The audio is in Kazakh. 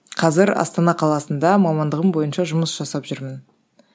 қазір астана қаласында мамандығым бойынша жұмыс жасап жүрмін